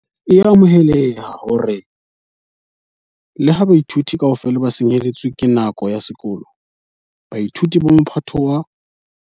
e amohela hore le ha baithuti kaofela ba senyehetswe ke nako ya sekolo, baithuti ba Mophato wa